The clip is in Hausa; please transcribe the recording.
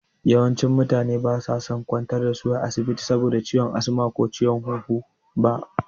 Yawancin mutane ba sai an kwantar da su asibiti saboda ciwon asma ko ciwon huhu ba.